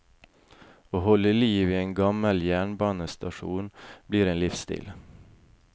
Å holde liv i en gammel jernbanestasjon blir en livsstil.